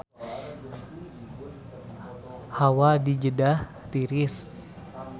Hawa di Jeddah tiris